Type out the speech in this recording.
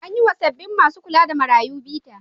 An yi wa sabbin masu kula da marayu bita.